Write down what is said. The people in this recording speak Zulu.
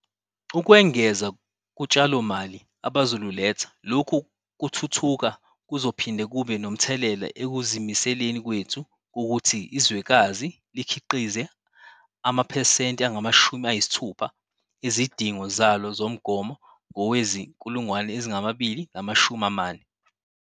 Ukwengeza kutshalomali abazoluletha, lokhu kuthuthuka kuzophinde kube nomthelela ekuzimiseleni kwethu kokuthi izwekazi likhiqize amaphesenti angama-60 ezidingo zalo zomgomo ngowezi-2040.